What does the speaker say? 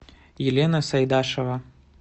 елена сайдашева